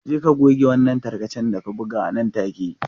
Je ka goge wannan tarkacen da ka buga nan take.